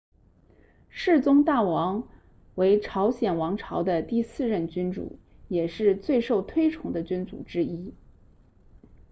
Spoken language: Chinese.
世宗大王为朝鲜王朝的第四任君主也是最受推崇的君主之一